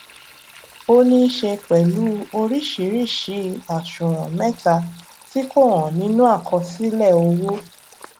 ó níí ṣe pẹlú oríṣìíríṣìí àṣùwòn mẹta tí kò hàn nínú àkọsílẹ owó